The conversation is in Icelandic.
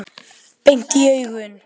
Beint í augun.